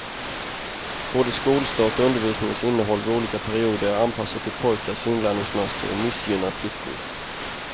Både skolstart och undervisningens innehåll vid olika perioder är anpassat till pojkars inlärningsmönster och missgynnar flickor.